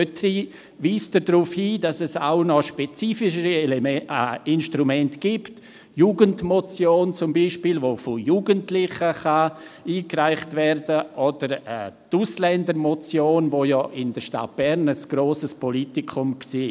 Dort weist dieser darauf hin, dass es auch noch spezifischere Instrumente gibt, wie etwa die Jugendmotion, die von Jugendlichen eingereicht werden kann, oder die Ausländermotion, die in der Stadt Bern ein grosses Politikum war.